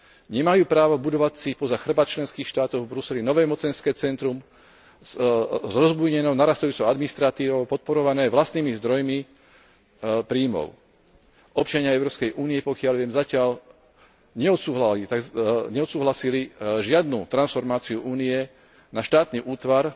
Nemajú právo budovať si poza chrbát členských štátov v Bruseli nové mocenské centrum s rozbujnenou narastajúcou administratívou podporované vlastnými zdrojmi príjmov Občania Európskej únie, pokiaľ viem, zatiaľ neodsúhlasili žiadnu transformáciu Únie na štátny útvar.